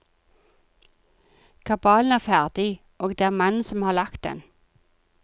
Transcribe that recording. Kabalen er ferdig, og det er mannen som har lagt den.